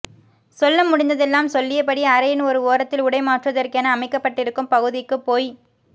சொல்ல முடிந்ததெல்லாம் சொல்லியபடி அறையின் ஒரு ஓரத்தில் உடை மாற்றுவதற்கென அமைக்கப்பட்டிருக்கும் பகுதிக்குப் போய்